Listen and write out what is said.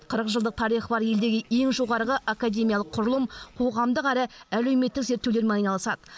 қырық жылдық тарихы бар елдегі ең жоғарғы академиялық құрылым қоғамдық әрі әлеуметтік зерттеулермен айналысады